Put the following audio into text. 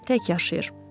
Tək yaşayır.